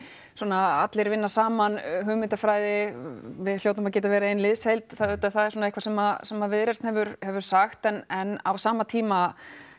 allir vinna saman hugmyndafræði við hljótum að geta verið ein liðsheild það er eitthvað sem sem Viðreisn hefur hefur sagt en á sama tíma